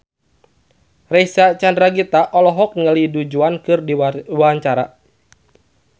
Reysa Chandragitta olohok ningali Du Juan keur diwawancara